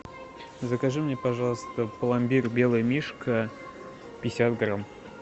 закажи мне пожалуйста пломбир белый мишка пятьдесят грамм